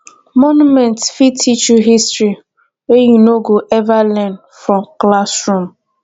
monuments fit teach you history wey you no go ever learn for classroom